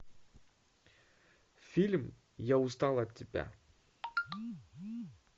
фильм я устал от тебя